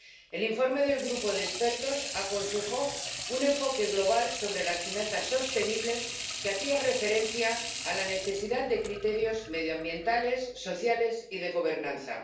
El informe del grupo de expertos aconsejó un enfoque global sobre las finanzas sostenibles que hacía referencia a la necesidad de criterios medioambientales, sociales y de gobernanza.